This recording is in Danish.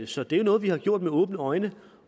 så det er noget vi har gjort med åbne øjne